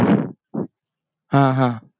हा हा